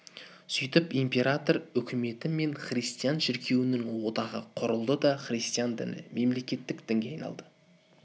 сөйтіп император өкіметі мен христиан шіркеуінің одағы құрылды да христиан діні мемлекеттік дінге айналды